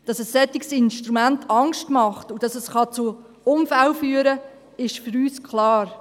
Dass ein solches Instrument Angst macht und dass es zu Unfällen führen kann, ist für uns klar.